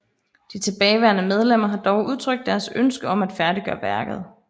De tilbageværende medlemmer har dog udtrykt deres ønske om at færdiggøre værket